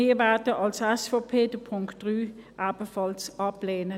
Wir von der SVP werden den Punkt 3 ebenfalls ablehnen.